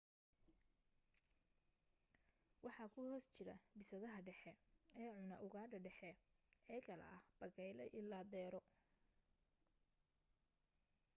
waxa ku hoos jira bisadaha dhexe ee cuna ugaadha dhexe ee kala ah bakayle ilaa deero